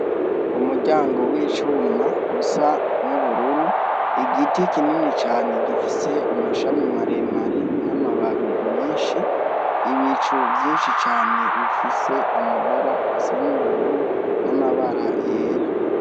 Umuryango w' icuma usa n' ubururu igiti kinini cane gifise amashami mare mare n' amababi menshi ibicu vyinshi cane bifise amabara asa n' ubururu n' amabara yera.